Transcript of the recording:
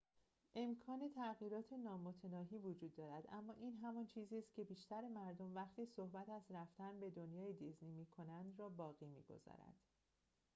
امکان تغییرات نامتناهی وجود دارد اما این همان چیزی که بیشتر مردم وقتی صحبت از رفتن به دنیای دیزنی می کنند را باقی می گذارد